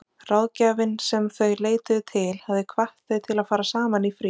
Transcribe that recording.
Ráðgjafinn sem þau leituðu til hafði hvatt þau til að fara saman í frí.